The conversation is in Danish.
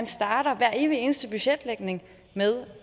starter hver evig eneste budgetlægning med